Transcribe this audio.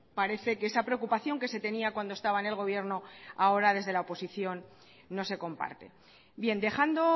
parece que esa preocupación que se tenía cuando estaba en el gobierno ahora desde la oposición no se comparte bien dejando